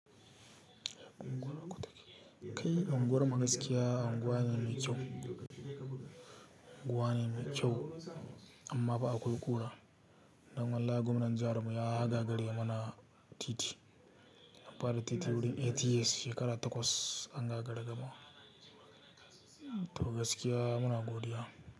Anguwar ku take? Kai unguwar mu gaskiya unguwa ne mai kyau, unguwa ne mai kyau amma fa akwai ƙura. Don wallahi gwamnan jihar mu ya ha gagare mana titi. An fara titin wurin ATS shekara takwas an gagari gamawa. Togaskiya muna godiya.